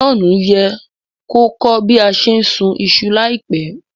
John ye ko kọ́ bi a se n sùn isu láìpẹ́